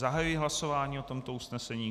Zahajuji hlasování o tomto usnesení.